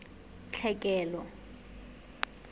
tlhekelo